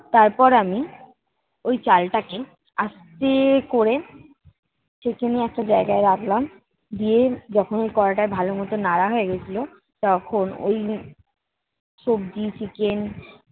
তারপর আমি ওই চালটাকে আস্তে করে ছেঁকে নিয়ে একটা জায়গায় রাখলাম। দিয়ে যখন ওই কড়াইটায় ভালো মতো নাড়া হয়ে গেছিলো তখন ওই সব্জি, chicken